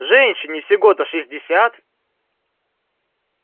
женщине всего-то шестьдесят